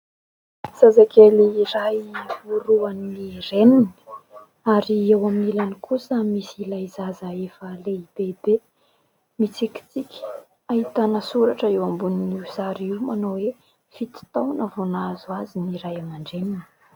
Zazakely iray orohan'ny reniny ary eo amin'ny ilany kosa misy ilay zaza efa lehibebe, mitsikitsiky. Ahitana soratra eo ambonin'io sary io manao hoe : fito taona vao nahazo azy ny Ray aman-dReniny.